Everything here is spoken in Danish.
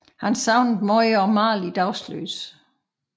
Han savnede meget at male i dagslys